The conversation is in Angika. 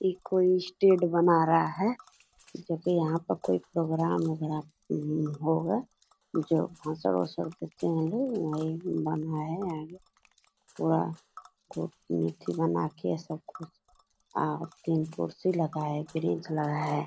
ई कोई स्टैंड बना रहा है जो की यहाँ पर कोई प्रोग्राम उगराम उम होगा जो भाषण वासन करते होंगे। पूरा को एथी बना के सब कुछ तीन कुर्सी लगा हैं ब्रीज़ लगा है।